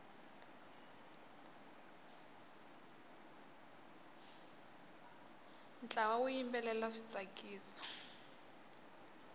ntlawa wu yimbelela swi tsakisa